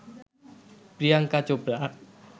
Priyanka Chopra